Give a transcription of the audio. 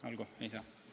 Olgu, ei saa.